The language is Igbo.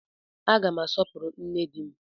Aga m asọpụrụ nne di m